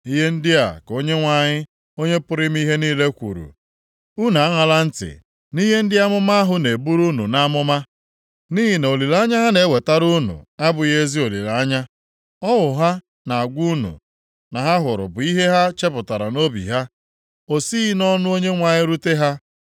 Ihe ndị a ka Onyenwe anyị, Onye pụrụ ime ihe niile kwuru, “Unu aṅala ntị nʼihe ndị amụma ahụ na-eburu unu nʼamụma, nʼihi na olileanya ha na-ewetara unu abụghị ezi olileanya. Ọhụ ha na-agwa unu na ha hụrụ bụ ihe ha chepụtara nʼobi ha, o sighị nʼọnụ Onyenwe anyị rute ha